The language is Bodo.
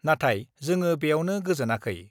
नाथाय जोङो बेयावनो गोजोनाखै।